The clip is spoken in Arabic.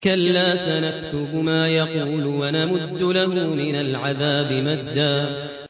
كَلَّا ۚ سَنَكْتُبُ مَا يَقُولُ وَنَمُدُّ لَهُ مِنَ الْعَذَابِ مَدًّا